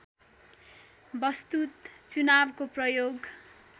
वस्तुत चुनावको प्रयोग